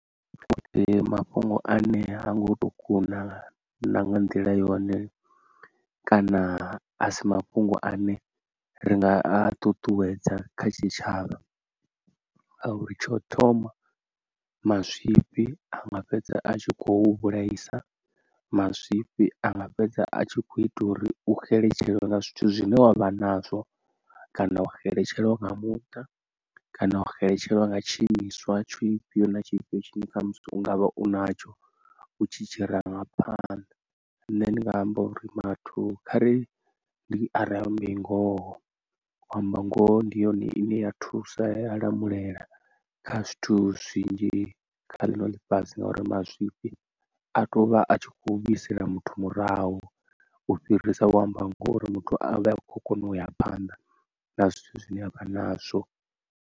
Futhi mafhungo ane ha ngo to kuna na nga nḓila yone kana a si mafhungo ane ri nga a ṱuṱuwedza kha tshitshavha a uri tsha u thoma mazwifhi a nga fhedza a tshi khou vhulaisa, mazwifhi a nga fhedza a tshi kho ita uri u xeletshelwa nga zwithu zwine wavha nazwo kana wa xeletshelwa nga muṱa kana u xeletshelwa nga tshi imiswa tshi fhio na tshifhio tshine kha musi ungavha u natsho u tshi tshi ranga phanḓa, nṋe ndinga amba uri vhathu khari ari ambe ngoho, u amba ngoho ndi yone ine ya thusa ya lamulela kha zwithu zwinzhi kha ḽino ḽifhasi ngauri mazwifhi a to vha a tshi kho vhuisela muthu murahu u fhirisa u amba ngoho uri muthu a vha a khou kone u isa phanḓa na zwithu zwine avha nazwo.